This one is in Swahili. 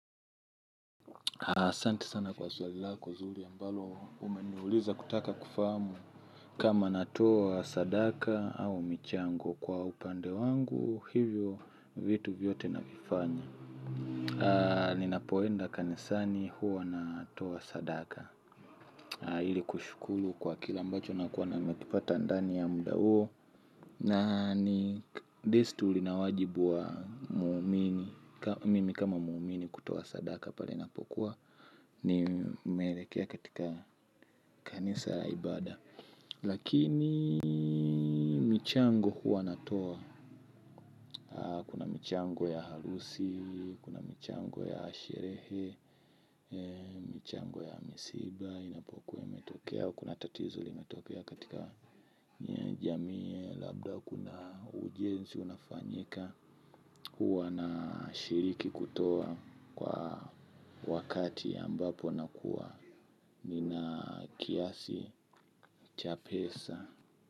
Haa, asanti sana kwa swali lako zuri ambalo umeniuliza kutaka kufahamu kama natoa sadaka au michango kwa upande wangu, hivyo vitu vyote na vifanya. Haa, ninapoenda kanisani huwa natoa sadaka. Haa, hili kushukulu kwa kile ambacho na kuwa na nimekipata ndani ya mda huo. Na ni desturi na wajibu wa waumini. Mimi kama muumini kutoa sadaka pale inapokuwa ni melekea katika kanisa la ibada. Lakini michango huwa natoa. Kuna michango ya halusi, kuna michango ya sherehe. Michango ya misiba inapokuwa imetokea kuna tatizo limetokea katika jamii labda kuna ujenzi unafanyika. Huwa na shiriki kutoa kwa wakati ambapo nakua. Nina kiasi cha pesa.